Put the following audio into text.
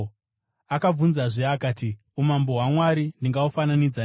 Akabvunzazve akati, “Umambo hwaMwari ndingahufananidza neiko?